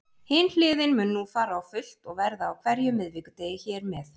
Hin hliðin mun nú fara á fullt og verða á hverjum miðvikudegi hér með.